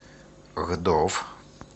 гдов